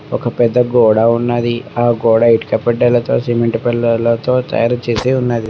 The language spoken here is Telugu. ఒక పెద్ద గోడ ఉన్నది. ఆ గోడ ఇటుక పెడ్డలతో సిమెంట్ పెళ్లలతో తయారు చేసి ఉన్నది.